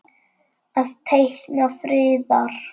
Að teikna friðar.